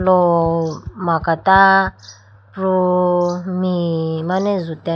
lo makata pru me mane jutene.